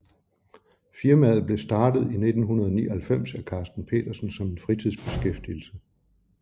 Firmaet blev startet i 1999 af Karsten Petersen som en fritidsbeskæftigelse